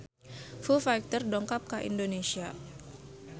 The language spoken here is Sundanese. Foo Fighter dongkap ka Indonesia